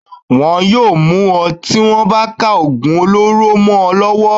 Wọ́n yóò mú ọ tí wọ́n bá ka ògùn olóró mọ ọ lọ́wọ́.